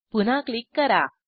पुन्हा क्लिक करा